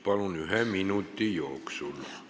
Palun ühe minuti jooksul!